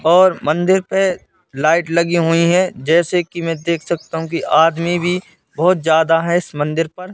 और मंदिर पे लाइट लगी हुई हैं जैसे कि मैं देख सकता हूं कि आदमी भी बहोत ज्यादा है इस मंदिर पर।